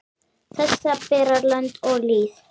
Þessar bera lönd og lýð.